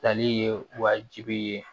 Tali ye wajibi ye